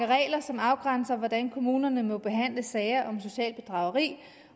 regler som afgrænser hvordan kommunerne må behandle sager om socialt bedrageri